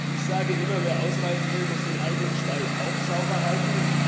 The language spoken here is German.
Ich sage immer Wer ausreiten will, muss den eigenen Stall auch sauber halten.